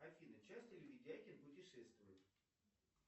афина часто ли видякин путешествует